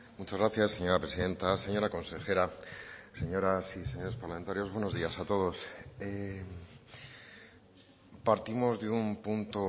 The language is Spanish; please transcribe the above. muchas gracias señora presidenta señora consejera señoras y señores parlamentarios buenos días a todos partimos de un punto